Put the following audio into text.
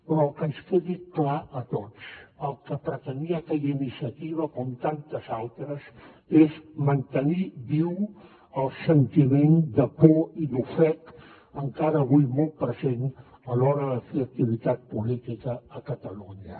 però que ens quedi clar a tots el que pretenia aquella iniciativa com tantes altres és mantenir viu el sentiment de por i d’ofec encara avui molt present a l’hora de fer activitat política a catalunya